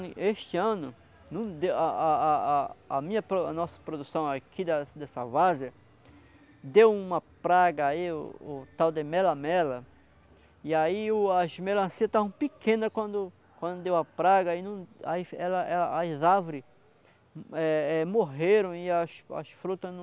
Este ano, não deu a a a a a minha para o, a nossa produção aqui da dessa várzia, deu uma praga aí, o tal de mela-mela, e aí o as melancias estão pequena quando quando deu a praga, aí não, aí ela ela, as árvore eh eh morreram e as as fruta não...